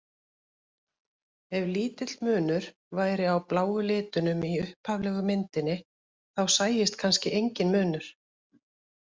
Ef lítill munur væri á bláu litunum í upphaflegu myndinni þá sæist kannski enginn munur.